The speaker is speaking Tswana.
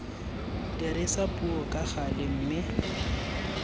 dirisa puo ka gale mme